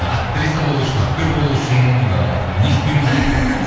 актриса болу үшін актер болу үшін ыыы не істеуіміз керек